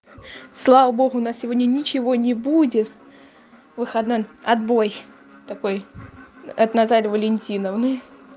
слава богу на сегодня ничего не будет выходной отбой такой от натальи валентиновны